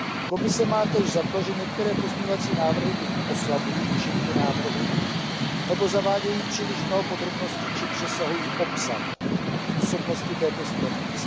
Komise má též za to, že některé pozměňovací návrhy buď oslabují účinky návrhu, nebo zavádějí příliš mnoho podrobností či přesahují obsah působnosti této směrnice.